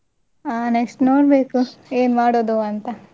ಹ next ನೋಡ್ಬೇಕು ಏನ್ ಮಾಡುದು ಅಂತ.